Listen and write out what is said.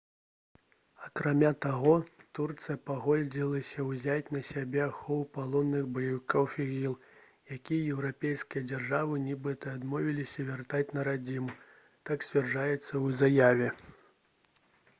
акрамя таго турцыя пагадзілася ўзяць на сябе ахову палонных баевікоў іділ якіх еўрапейскія дзяржавы нібыта адмовіліся вяртаць на радзіму так сцвярджаецца ў заяве